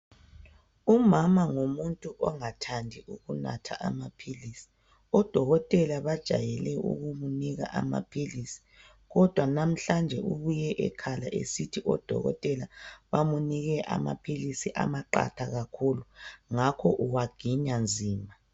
Umama ngumuntu ongathandi ukunatha amaphilisi. Odokotela bajayele ukumunika amaphilisi kodwa namhlanje ubuye ekhala esithi odokotela bamunike amaphilisi amaqatha kakhulu ngakho uwaginya nzima.